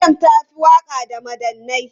Maryam ta fi waka da madannai.